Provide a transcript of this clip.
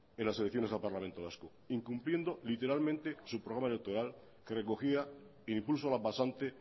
en las elecciones al parlamento vasco incumpliendo literalmente su programa electoral que recogía impulso a la pasante